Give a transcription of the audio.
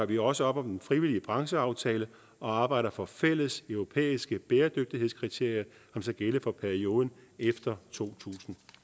vi også op om den frivillige brancheaftale og arbejder for fælles europæiske bæredygtighedskriterier som skal gælde for perioden efter to tusind